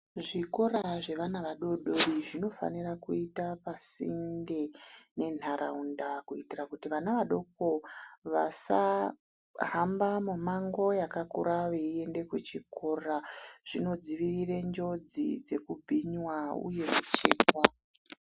Zvikora zvevana vadodori zvinofanira kuita pasinde nenharaunda kuitira kuti vana vadoko vasahamba mimango yakakura veiyende kuchikora zvinodzivirira njodzi yekubhinywa uye kuchekwa.